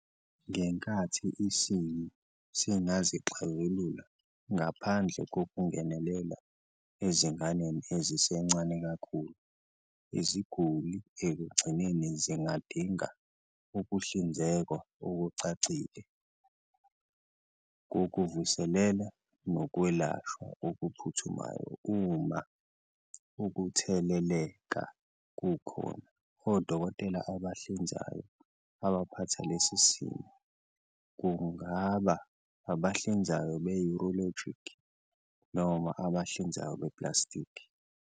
Ngenkathi isimo singazixazulula ngaphandle kokungenelela ezinganeni ezisencane kakhulu, iziguli ekugcineni zingadinga ukuhlinzekwa okucacile kokuvuselela nokwelashwa okuphuthumayo uma ukutheleleka kukhona. Odokotela abahlinzayo abaphatha lesi simo kungaba abahlinzayo be-urologic noma abahlinzayo beplastiki.